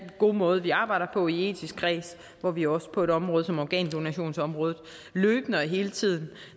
god måde vi arbejder på i den etiske kreds hvor vi også på et område som organdonationsområdet løbende og hele tiden